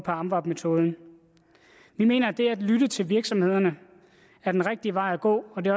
amvab metoden vi mener at det at lytte til virksomhederne er den rigtige vej at gå det